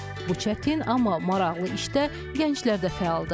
Bu çətin, amma maraqlı işdə gənclər də fəaldır.